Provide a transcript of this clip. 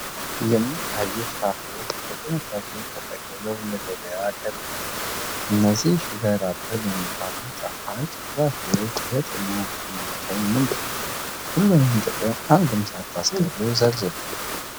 የሚታዩት ፍራፍሬዎች በጥንቃቄ ተጠቅልለው ለገበያ ቀርበዋል። እነዚህ 'ሹገር አፕል' የሚባሉ ጣፋጭ ፍራፍሬዎች የጤና ጥቅማቸው ምንድነው? ዘርዝሩ ሁሉንም ጥቅም አንድም ሳታስቀሩ።